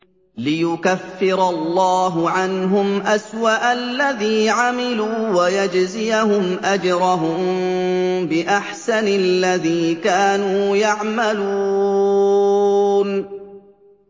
لِيُكَفِّرَ اللَّهُ عَنْهُمْ أَسْوَأَ الَّذِي عَمِلُوا وَيَجْزِيَهُمْ أَجْرَهُم بِأَحْسَنِ الَّذِي كَانُوا يَعْمَلُونَ